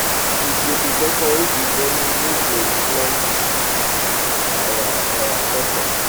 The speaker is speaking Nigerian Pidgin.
we go dey decorate di venue wey go reflect our our culture